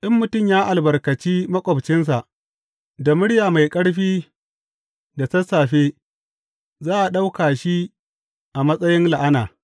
In mutum ya albarkaci maƙwabcinsa da murya mai ƙarfi da sassafe, za a ɗauka shi a matsayin la’ana.